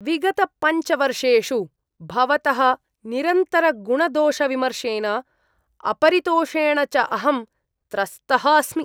विगतपञ्चवर्षेषु भवतः निरन्तरगुणदोषविमर्शेन, अपरितोषेण च अहं त्रस्तः अस्मि।